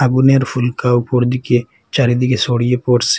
আগুনের ফুলকা উপর দিকে চারিদিকে ছড়িয়ে পড়সে।